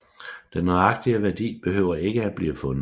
Den nøjagtige værdi behøver ikke at blive fundet